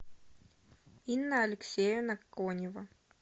инна алексеевна конева